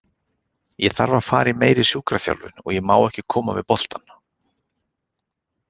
Ég þarf að fara í meiri sjúkraþjálfun og ég má ekki koma við bolta.